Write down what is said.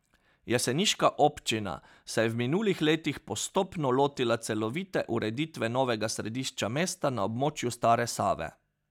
Jeseniška občina se je v minulih letih postopno lotila celovite ureditve novega središča mesta na območju Stare Save.